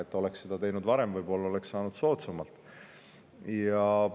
Kui me oleksime seda varem teinud, oleksime selle võib-olla ka soodsamalt saanud.